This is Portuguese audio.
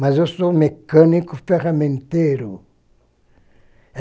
Mas eu sou mecânico ferramenteiro.